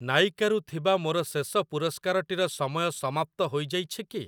ନାଇକା ରୁ ଥିବା ମୋର ଶେଷ ପୁରସ୍କାରଟିର ସମୟ ସମାପ୍ତ ହୋଇଯାଇଛି କି?